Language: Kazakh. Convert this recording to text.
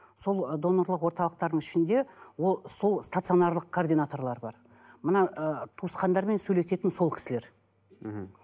сол ы донорлық орталықтардың ішінде ол сол станционарлық координаторлар бар мына ы туысқандармен сөйлесетін сол кісілер мхм